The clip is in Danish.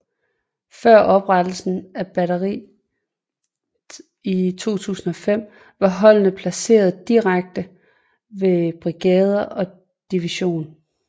Før oprettelsen af batteriet i 2005 var holdene placeret direkte ved brigader og division